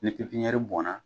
Ni pipiniyɛri bɔnna